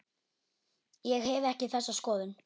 Ég hef ekki þessa skoðun.